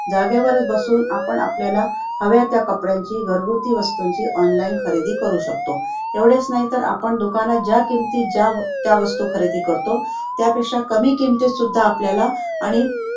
जागेवरच बसून आपण आपल्याला हव्या त्या कपड्यांची, घरगुती वस्तूंची online खरेदी करू शकतो. एवढेच नाही तर आपण दुकानात किमतीत ज्या त्या वस्तू खरेदी करतो त्यापेक्षा कमी किमतीत सुद्धा आपल्याला आणि